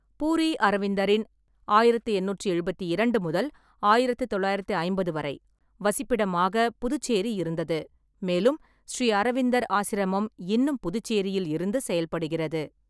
பூரீஅரவிந்தரின் (ஆயிரத்து எண்ணூற்றி எழுபத்திரண்டு முதல் ஆயிரத்து தொள்ளாயிரத்தி ஐம்பது வரை ) வசிப்பிடமாக புதுச்சேரி இருந்தது, மேலும் ஸ்ரீ அரவிந்தர் ஆசிரமம் இன்னும் புதுச்சேரியில் இருந்து செயல்படுகிறது.